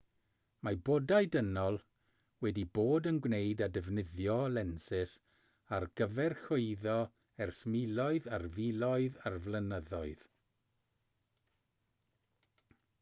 mae bodau dynol wedi bod yn gwneud a defnyddio lensys ar gyfer chwyddo ers miloedd ar filoedd o flynyddoedd